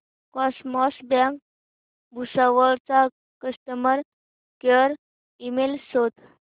cosmos bank Bhusawal चा customer care email शोध